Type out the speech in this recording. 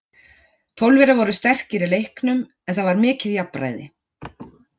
Pólverjar voru sterkir í leiknum, en það var mikið jafnræði.